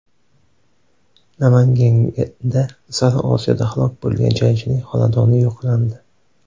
Namanganda Sariosiyoda halok bo‘lgan jangchining xonadoni yo‘qlandi.